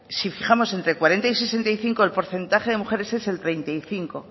si fijamos entre cuarenta y sesenta y cinco el porcentaje de mujeres es el treinta y cinco